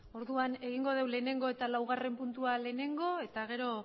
orduan egingo dugu lehenengo eta laugarren puntua lehenengo eta gero